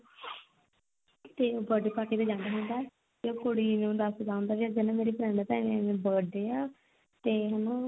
ਤੇ ਉਹ birthday party ਤੇ ਜਾਂਦਾ ਹੁੰਦਾ ਤੇ ਉਹ ਕੁੜੀ ਨੂੰ ਦੱਸਦਾ ਹੁੰਦਾਕਹਿੰਦਾ ਮੇਰੀ friend birthday ਆ ਤੇ ਹਨਾ